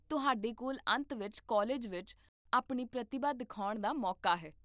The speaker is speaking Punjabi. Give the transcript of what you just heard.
ਤੁਹਾਡੇ ਕੋਲ ਅੰਤ ਵਿੱਚ ਕਾਲਜ ਵਿੱਚ ਆਪਣੀ ਪ੍ਰਤਿਭਾ ਦਿਖਾਉਣ ਦਾ ਮੌਕਾ ਹੈ